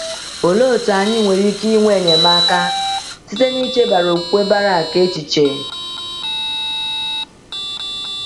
Olee otú anyị nwere ike inwe enyemaka site n’ichebara okwukwe Barak echiche?